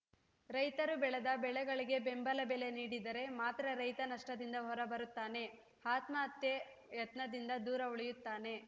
ರೈತರು ಬೆಳೆದ ಬೆಳೆಗಳಿಗೆ ಬೆಂಬಲ ಬೆಲೆ ನೀಡಿದರೆ ಮಾತ್ರ ರೈತ ನಷ್ಟದಿಂದ ಹೊರ ಬರುತ್ತಾನೆ ಆತ್ಮಹತ್ಯೆ ಯತ್ನದಿಂದ ದೂರ ಉಳಿಯುತ್ತಾನೆ